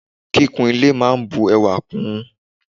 Kíkún ile máà ń bu ẹwà kún ùn.